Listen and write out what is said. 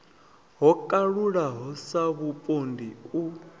ho kalulaho sa vhupondi u